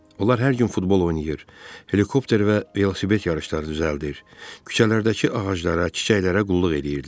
Onlar hər gün futbol oynayır, helikopter və velosiped yarışları düzəldir, küçələrdəki ağaclara, çiçəklərə qulluq edirdilər.